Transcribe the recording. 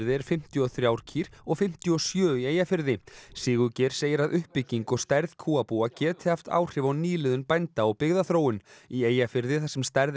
er fimmtíu og þrjár kýr og fimmtíu og sjö í Eyjafirði Sigurgeir segir að uppbygging og stærð kúabúa geti haft áhrif á nýliðun bænda og byggðaþróun í Eyjafirði þar sem stærð